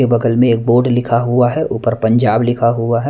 के बगल में एक बोर्ड लिखा हुआ है ऊपर पंजाब लिखा हुआ है।